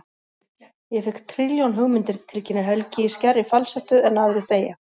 Ég fékk trilljón hugmyndir, tilkynnir Helgi í skærri falsettu en aðrir þegja.